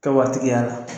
Kɛ waati y'a la